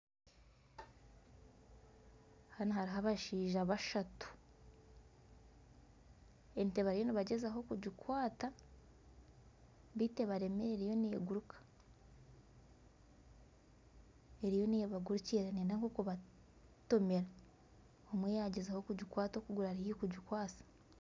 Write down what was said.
Hanu hariho abashaija bashatu, ente bariyo nibagyezaho kugikwata beitu abaremire eriyo neeguruka, eriyo neebagurukira eriyo neeyenda kubatomera, omwe yaagyezaho kugikwata okuguru ari haihi kugikwasa